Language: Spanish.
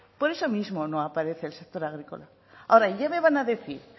por eso mismo no aparece el sector agrícola ahora ya me van a decir